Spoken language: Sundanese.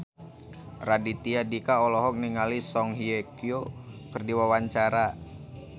Raditya Dika olohok ningali Song Hye Kyo keur diwawancara